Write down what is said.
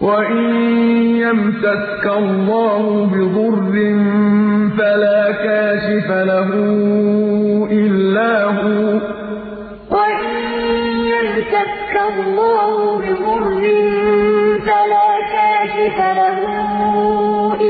وَإِن يَمْسَسْكَ اللَّهُ بِضُرٍّ فَلَا كَاشِفَ لَهُ إِلَّا هُوَ ۖ وَإِن يَمْسَسْكَ بِخَيْرٍ فَهُوَ عَلَىٰ كُلِّ شَيْءٍ قَدِيرٌ وَإِن يَمْسَسْكَ اللَّهُ بِضُرٍّ فَلَا كَاشِفَ لَهُ